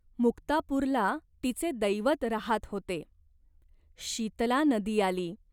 मुक्तापूरला तिचे दैवत राहात होते. शीतला नदी आली.